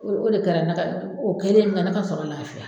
O o de kɛra ne ka o kɛlen min kɛ ne ka sɔrɔ lafiya